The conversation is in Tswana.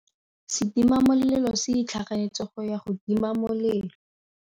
Setima molelô se itlhaganêtse go ya go tima molelô.